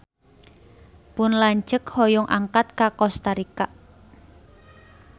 Pun lanceuk hoyong angkat ka Kosta Rika